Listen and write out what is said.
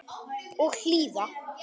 Og hlýða.